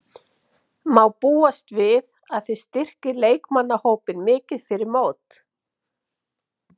Má búast við að þið styrkið leikmannahópinn mikið fyrir mót?